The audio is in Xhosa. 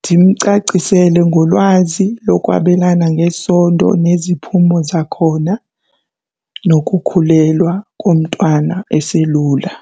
Ndimcacisele ngolwazi lokwabelana ngesondo neziphumo zakhona nokukhulelwa komntwana eselula.